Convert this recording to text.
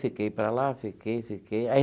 Fiquei para lá, fiquei, fiquei.